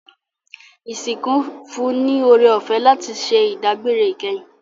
Isinku n fún ni oorẹ-ọfẹ láti ṣẹ idagbere ikẹhin